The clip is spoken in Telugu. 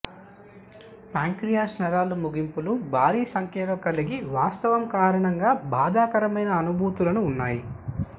ప్యాంక్రియాస్ నరాల ముగింపులు భారీ సంఖ్యలో కలిగి వాస్తవం కారణంగా బాధాకరమైన అనుభూతులను ఉన్నాయి